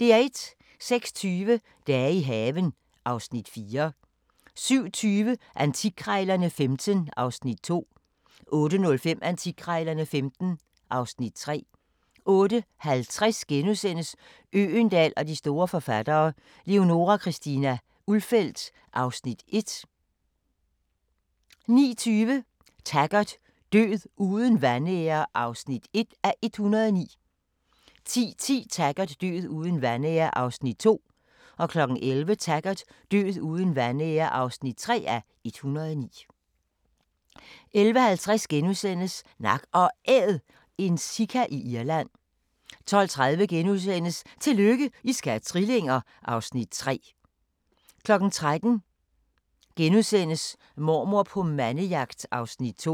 06:20: Dage i haven (Afs. 4) 07:20: Antikkrejlerne XV (Afs. 2) 08:05: Antikkrejlerne XV (Afs. 3) 08:50: Øgendahl og de store forfattere: Leonora Christina Ulfeldt (Afs. 1)* 09:20: Taggart: Død uden vanære (1:109) 10:10: Taggart: Død uden vanære (2:109) 11:00: Taggart: Død uden vanære (3:109) 11:50: Nak & Æd – en sika i Irland * 12:30: Tillykke, I skal have trillinger! (Afs. 3)* 13:00: Mormor på mandejagt (Afs. 2)*